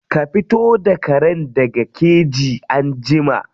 Ka fito da karen daga keji anjima.